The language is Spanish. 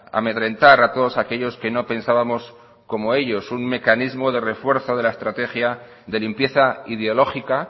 amedrentar a todos aquellos que no pensábamos como ellos un mecanismo de refuerzo de la estrategia de limpieza ideológica